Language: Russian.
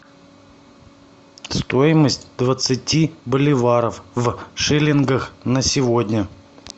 стоимость двадцати боливаров в шиллингах на сегодня